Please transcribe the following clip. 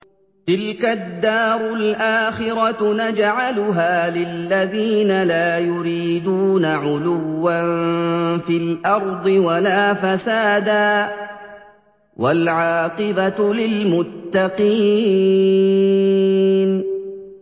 تِلْكَ الدَّارُ الْآخِرَةُ نَجْعَلُهَا لِلَّذِينَ لَا يُرِيدُونَ عُلُوًّا فِي الْأَرْضِ وَلَا فَسَادًا ۚ وَالْعَاقِبَةُ لِلْمُتَّقِينَ